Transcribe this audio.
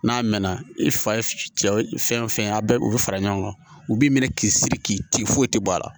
N'a mɛnna i fa ye cɛ fɛn fɛn ye a bɛɛ u bɛ fara ɲɔgɔn kan u b'i minɛ k'i siri k'i ti foyi tɛ bɔ a la